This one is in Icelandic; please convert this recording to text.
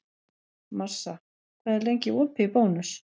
Marsa, hvað er lengi opið í Bónus?